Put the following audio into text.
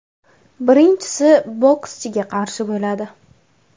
Birinchisi bokschiga qarshi bo‘ladi.